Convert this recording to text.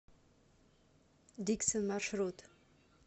диксон маршрут